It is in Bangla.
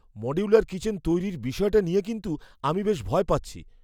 মডিউলার কিচেন তৈরির বিষয়টা নিয়ে কিন্তু আমি বেশ ভয় পাচ্ছি।